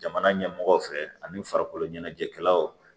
Jamana ɲɛmɔgɔw fɛ ani farikolo ɲɛnajɛkɛlaw